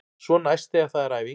Svo næst þegar það er æfing.